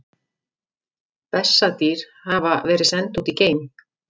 Bessadýr hafa verið send út í geim!